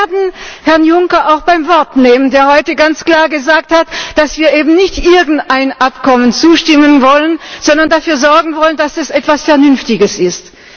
Und wir werden Herrn Juncker auch beim Wort nehmen, der heute ganz klar gesagt hat, dass wir eben nicht irgendeinem Abkommen zustimmen wollen, sondern dafür sorgen wollen, dass es etwas Vernünftiges ist.